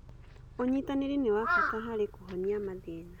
Ũnyitanĩri nĩ wa bata harĩ kũhonia mathĩna.